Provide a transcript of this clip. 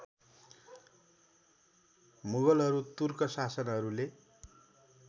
मुगलहरू तुर्क शासकहरूले